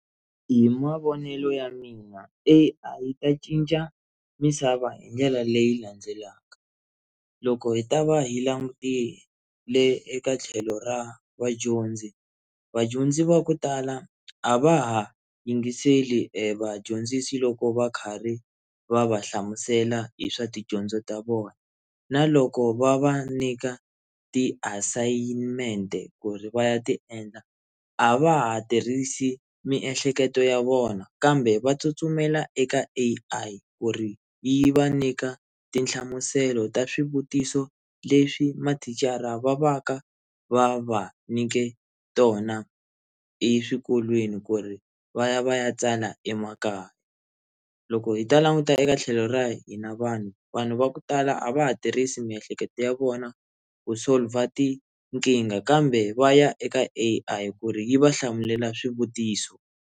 Hi mavonelo ya mina A_I yi ta cinca misava hi ndlela leyi landzelaka, loko hi ta va hi langutile eka tlhelo ra vadyondzi vadyondzi va ku tala a va ha yingiseli evadyondzisi loko va khari va va hlamusela hi swa tidyondzo ta vona na loko va va nyika tiasayimente ku ri va ya ti endla a va ha tirhisi miehleketo ya vona kambe va tsutsumela eka A_I ku ri yi va nyika tinhlamuselo ta swivutiso leswi mathicara va va ka va va nyike tona eswikolweni ku ri va ya va ya tsala emakaya loko hi ta languta eka tlhelo ra hina vanhu vanhu va ku tala a va ha tirhisi miehleketo ya vona ku solver tinkingha kambe va ya eka A_I ku ri yi va hlamulela swivutiso.